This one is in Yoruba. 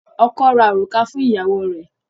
Ọkọ́ ra òrùka fún ìyàwó rẹ.